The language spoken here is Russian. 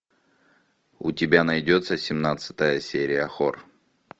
у тебя найдется семнадцатая серия хор